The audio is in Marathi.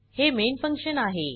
हे मेन फंक्शन आहे